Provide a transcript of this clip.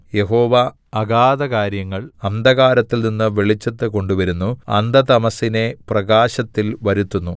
യഹോവ അഗാധകാര്യങ്ങൾ അന്ധകാരത്തിൽനിന്ന് വെളിച്ചത്ത് കൊണ്ടുവരുന്നു അന്ധതമസ്സിനെ പ്രകാശത്തിൽ വരുത്തുന്നു